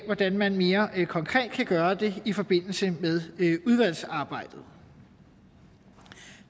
hvordan man mere konkret kan gøre det i forbindelse med udvalgsarbejdet